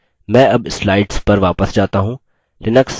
मैं अब slides पर वापस जाता हूँ